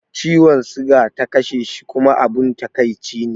Ciwon siga ta kashe shi kuma abun takaici ne